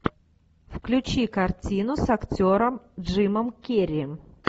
включи картину с актером джимом керри